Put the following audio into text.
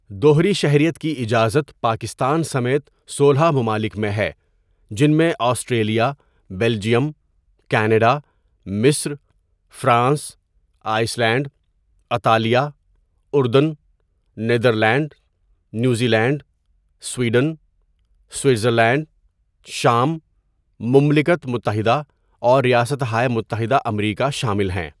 دوہری شہریت کی اجازت پاکستان سمیت سولہ ممالک میں ہے جن میں آسٹریلیا، بلجئیم، کینیڈا، مصر، فرانس، آئس لینڈ، اطالیہ، اردن، Netherlands, New Zealand, Sweden, Switzerland, شام، مملکت متحدہ اور ریاستہائے متحدہ امریکا شامل ہیں.